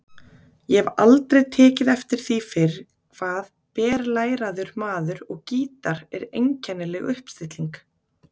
Ég hef aldrei tekið eftir því fyrr hvað berlæraður maður og gítar er einkennileg uppstilling.